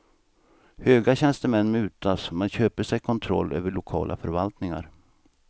Höga tjänstemän mutas, man köper sig kontroll över lokala förvaltningar.